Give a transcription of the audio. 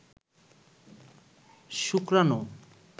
শুক্রাণু